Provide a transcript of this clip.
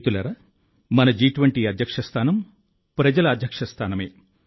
మిత్రులారా మన జి20 అధ్యక్ష స్థానం ప్రజల అధ్యక్ష స్థానమే